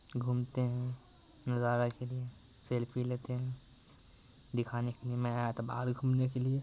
घूमते हैं नजारा के लिए सेल्फी लेते हैं दिखाने के लिए मैं आया था बाहर घुमने के लिए।